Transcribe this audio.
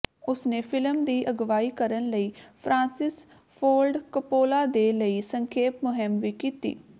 ਉਸਨੇ ਫ਼ਿਲਮ ਦੀ ਅਗਵਾਈ ਕਰਨ ਲਈ ਫ੍ਰਾਂਸਿਸ ਫੋਰਡ ਕਪੋਲਾ ਦੇ ਲਈ ਸੰਖੇਪ ਮੁਹਿੰਮ ਵੀ ਕੀਤੀ